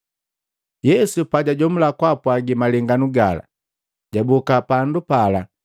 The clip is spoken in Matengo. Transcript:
Yesu pajajomula kwaapwaagi malenganu gala, jaboka pandu pala,